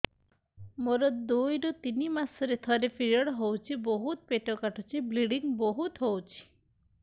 ମୋର ଦୁଇରୁ ତିନି ମାସରେ ଥରେ ପିରିଅଡ଼ ହଉଛି ବହୁତ ପେଟ କାଟୁଛି ବ୍ଲିଡ଼ିଙ୍ଗ ବହୁତ ହଉଛି